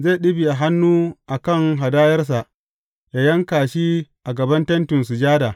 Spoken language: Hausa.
Zai ɗibiya hannu a kan hadayarsa, yă yanka shi a gaban Tentin Sujada.